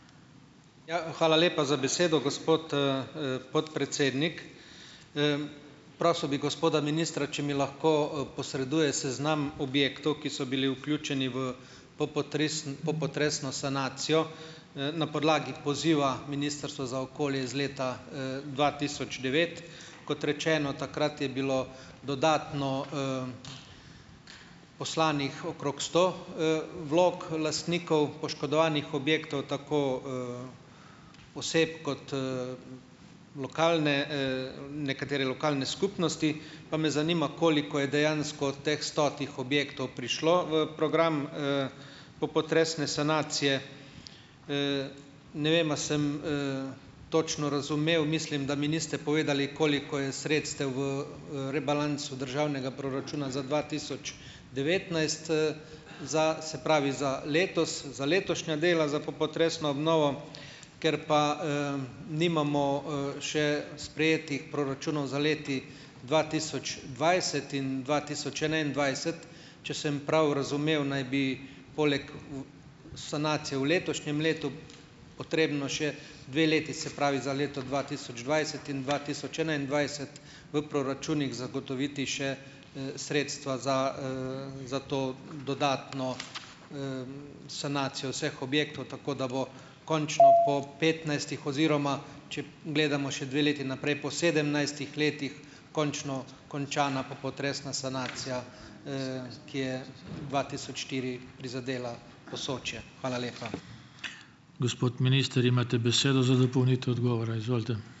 Ja, hvala lepa za besedo, gospod, podpredsednik. Prosil bi gospoda ministra, če mi lahko posreduje seznam objektov, ki so bili vključeni v popotresno sanacijo, na podlagi poziva Ministrstva za okolje iz leta, dva tisoč devet. Kot rečeno, takrat je bilo dodatno poslanih okrog sto vlog lastnikov poškodovanih objektov, tako oseb kot lokalne, nekatere lokalne skupnosti. Pa me zanima, koliko je dejansko od teh stotih objektov prišlo v program popotresne sanacije. Ne vem, a sem točno razumel, mislim, da mi niste povedali, koliko je sredstev v rebalansu državnega proračuna za dva tisoč devetnajst, za, se pravi za letos, za letošnja dela za popotresno obnovo. Ker pa, nimamo, še sprejetih proračunov za leti dva tisoč dvajset in dva tisoč enaindvajset, če sem prav razumel, naj bi poleg sanacije v letošnjem letu potrebno še dve leti, se pravi za leto dva tisoč dvajset in dva tisoč enaindvajset v proračunih zagotoviti še sredstva za, za to dodatno sanacijo vseh objektov, tako da bo končno po petnajstih oziroma, če gledamo še dve leti naprej, po sedemnajstih letih končno končana popotresna sanacija, ki je dva tisoč štiri prizadela Posočje. Hvala lepa.